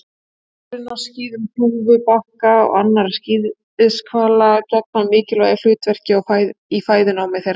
Hárin á skíðum hnúfubaka og annarra skíðishvala gegna mikilvægu hlutverki í fæðunámi þeirra.